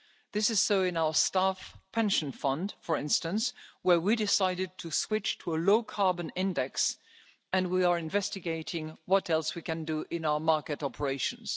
This is so in our staff pension fund, for instance, where we decided to switch to a low carbon index, and we are investigating what else we can do in our market operations.